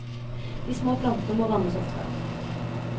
De små plantene må vannes ofte.